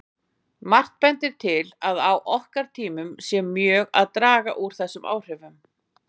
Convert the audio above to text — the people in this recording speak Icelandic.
Margt bendir til að á okkar tímum sé mjög að draga úr þessum áhrifum.